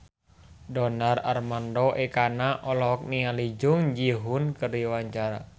Donar Armando Ekana olohok ningali Jung Ji Hoon keur diwawancara